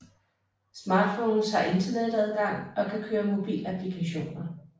Smartphones har internetadgang og kan køre mobilapplikationer